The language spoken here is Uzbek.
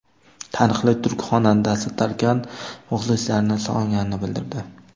Taniqli turk xonandasi Tarkan muxlislarini sog‘inganini bildirdi.